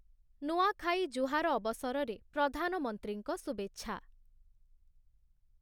ନୂଆଁଖାଇ ଜୁହାର ଅବସରରେ ପ୍ରଧାନମନ୍ତ୍ରୀଙ୍କ ଶୁଭେଚ୍ଛା ।